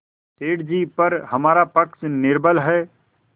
सेठ जीपर हमारा पक्ष निर्बल है